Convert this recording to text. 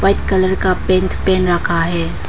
White colour का pant पहन रखा है।